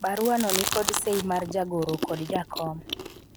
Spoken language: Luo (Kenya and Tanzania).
baruano nikod sei mar jagoro kod jakom